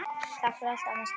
Takk fyrir allt, amma Stína.